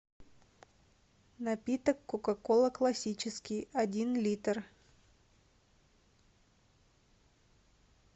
напиток кока кола классический один литр